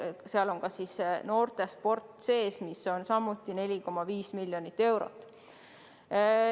Seal on ka noortesport sees, samuti 4,5 miljonit eurot.